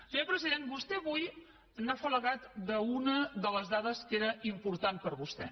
senyor president vostè avui s’ha afalagat d’una de les dades que era important per vostè